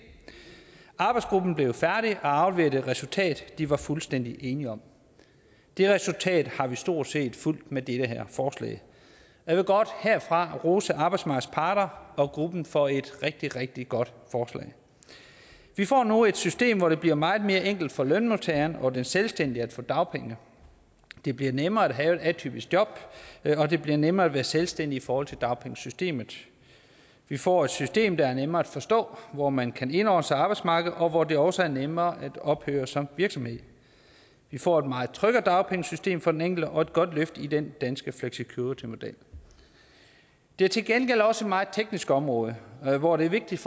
arbejdsgruppen er blevet færdig og har afleveret et resultat de var fuldstændig enige om det resultat har vi stort set fulgt med det her forslag jeg vil godt herfra rose arbejdsmarkedets parter og gruppen for et rigtig rigtig godt forslag vi får nu et system hvor det bliver meget mere enkelt for lønmodtageren og den selvstændige at få dagpenge det bliver nemmere at have et atypisk job og det bliver nemmere at være selvstændig i forhold til dagpengesystemet vi får et system der er nemmere at forstå hvor man kan indordne arbejdsmarkedet og hvor det også er nemmere at ophøre som virksomhed vi får et meget tryggere dagpengesystem for den enkelte og et godt løft i den danske flexicuritymodel det er til gengæld også et meget teknisk område hvor det er vigtigt